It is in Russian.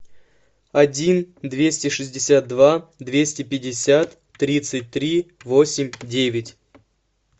один двести шестьдесят два двести пятьдесят тридцать три восемь девять